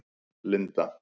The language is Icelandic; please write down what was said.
Linda